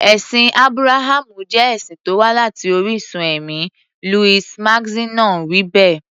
Ẹ̀sìn Ábúráhámù jẹ́ ẹ̀sìn tó wá láti orísun ẹ̀mí, Louis Massignon wí bẹ́ẹ̀.